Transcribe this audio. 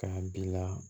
K'a bila